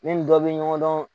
Ne nin dɔ bɛ ɲɔgɔn dɔn